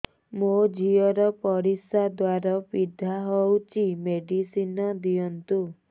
ମୋ ଝିଅ ର ପରିସ୍ରା ଦ୍ଵାର ପୀଡା ହଉଚି ମେଡିସିନ ଦିଅନ୍ତୁ